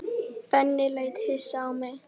Benni leit hissa á mig.